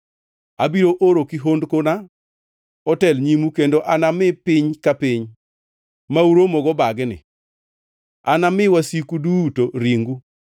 “Abiro oro kihondkona otel nyimu kendo anami piny ka piny ma uromogo bagni. Anami wasiku duto ringu.